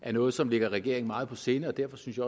er noget som ligger regeringen meget på sinde og derfor synes